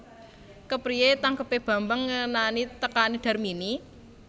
Kepriyé tangkebé Bambang ngenani tekané Darmini